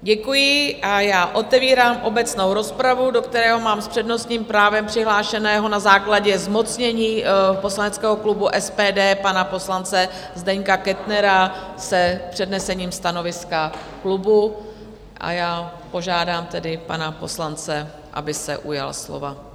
Děkuji a já otevírám obecnou rozpravu, do které mám s přednostním právem přihlášeného na základě zmocnění poslaneckého klubu SPD pana poslance Zdeňka Kettnera s přednesením stanoviska klubu, a já požádám tedy pana poslance, aby se ujal slova.